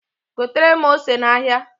Gotere m ose n'ahịa.